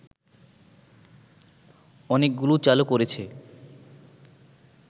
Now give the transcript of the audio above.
অনেকগুলো চালু করেছে